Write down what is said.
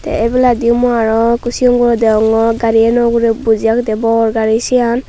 the ebeladi mui aro ekku cigon guro degongor gari gano uguri boji agede bor gari cian.